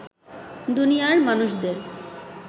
দুনিয়ার মানুষদের